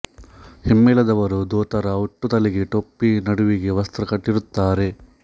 ಹಿಮ್ಮೇಳದವರು ದೋತರ ಉಟ್ಟು ತಲೆಗೆ ಟೊಪ್ಪಿ ನಡುವಿಗೆ ವಸ್ತ್ರ ಕಟ್ಟಿರುತ್ತಾರೆ